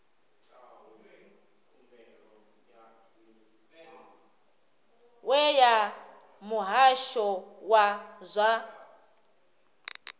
we ya muhasho wa zwa